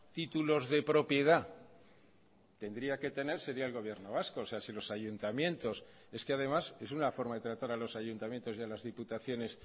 títulos de propiedad tendría que tener sería el gobierno vasco o sea si los ayuntamientos es que además es una forma de tratar a los ayuntamientos y a las diputaciones